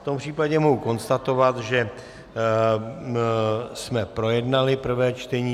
V tom případě mohu konstatovat, že jsme projednali prvé čtení.